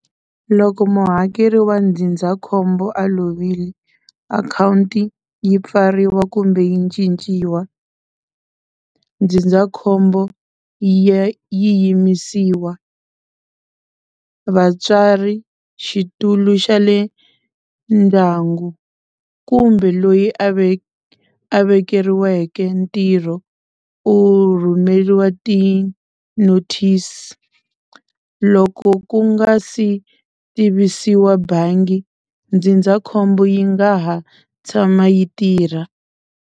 Loko muhakeri wa ndzindzakhombo a lovile, akhawunti yi pfariwa kumbe yi cinciwa ndzindzakhombo yi ya yi yimisiwa. Vatswari xitulu xa le ndyangu kumbe loyi a ve a vekeriweke ntirho u rhumeriwa ti-notice. Loko ku nga si tivisiwa bangi ndzindzakhombo yi nga ha tshama yi tirha.